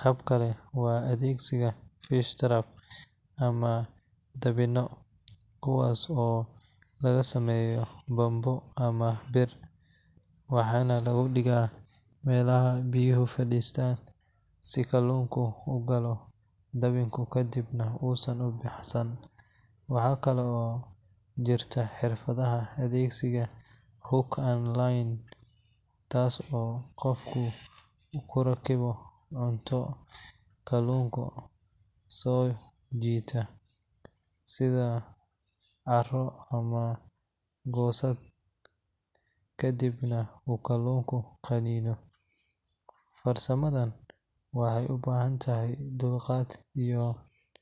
Hab kale waa adeegsiga fish traps ama dabinno, kuwaas oo laga sameeyo bambo ama bir, waxaana lagu dhigaa meelaha biyuhu fadhiyaan si kalluunka u galo dabinka kadibna uusan u baxsan. Waxaa kale oo jirta xirfadda adeegsiga hook and line, taas oo qofku ku rakibo cunto kalluunka soo jiidata sida caaro ama goosad kadibna uu kalluunka qaniino. Farsamadaan waxay u baahan tahay dulqaad iyo.